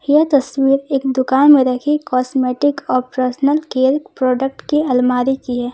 यह तस्वीर एक दुकान में रखी कॉस्मेटिक और पर्सनल केयर के प्रोडक्ट की अलमारी की है।